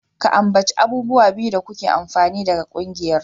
Ka ambaci abubuwa biyu da kuke amfana daga ƙungiyar.